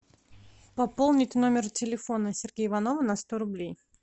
пополнить номер телефона сергея иванова на сто рублей